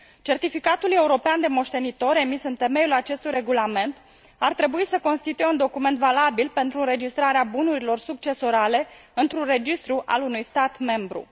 Certificatul european de moștenitor, emis în temeiul acestui regulament, ar trebui să constituie un document valabil pentru înregistrarea bunurilor succesorale într un registru al unui stat membru.